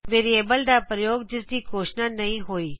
variable ਦਾ ਪ੍ਰਯੋਗ ਜਿਸ ਦੀ ਘੋਸ਼ਣਾ ਨਹੀ ਹੋਈ